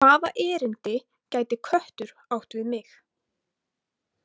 Hvaða erindi gæti köttur átt við mig?